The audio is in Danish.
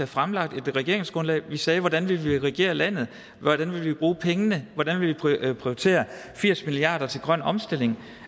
fremlagt et regeringsgrundlag vi sagde hvordan vi ville regere landet hvordan vi ville bruge pengene hvordan vi ville prioritere firs milliard kroner til grøn omstilling